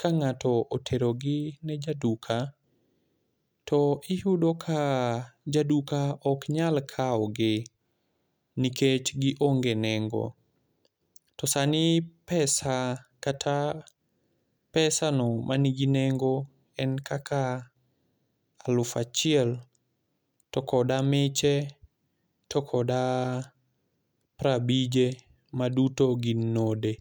ka ng'ato oterogi ne ja duka, to iyudo ka jaduka ok nyal kawo gi nikech gionge nengo. To sani pesa, kata pesano ma nigi nengo en kaka aluf achiel, koda miche, kod piero abije, ma duto gin node.